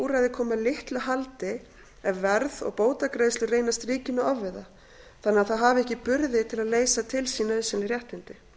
úrræði komi að litlu haldi ef verð og bótagreiðslur reynast ríkinu ofviða þannig að það hafi ekki burði til að leysa til sín nauðsynleg réttindi